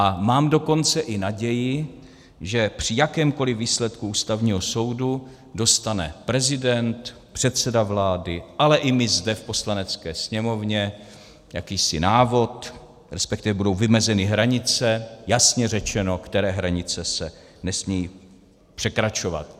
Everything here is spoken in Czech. A mám dokonce i naději, že při jakémkoli výsledku Ústavního soudu dostane prezident, předseda vlády, ale i my zde v Poslanecké sněmovně jakýsi návod, respektive budou vymezeny hranice, jasně řečeno, které hranice se nesmějí překračovat.